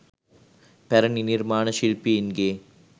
පැරැණි නිර්මාණ ශිල්පීන්ගේ